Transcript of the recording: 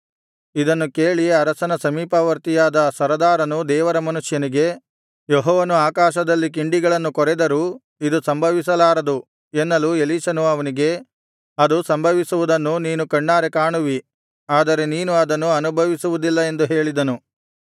ಇದನ್ನು ಕೇಳಿ ಅರಸನ ಸಮೀಪವರ್ತಿಯಾದ ಸರದಾರನು ದೇವರ ಮನುಷ್ಯನಿಗೆ ಯೆಹೋವನು ಆಕಾಶದಲ್ಲಿ ಕಿಂಡಿಗಳನ್ನು ಕೊರೆದರೂ ಇದು ಸಂಭವಿಸಲಾರದು ಎನ್ನಲು ಎಲೀಷನು ಅವನಿಗೆ ಅದು ಸಂಭವಿಸುವುದನ್ನು ನೀನು ಕಣ್ಣಾರೆ ಕಾಣುವಿ ಆದರೆ ನೀನು ಅದನ್ನು ಅನುಭವಿಸುವುದಿಲ್ಲ ಎಂದು ಹೇಳಿದನು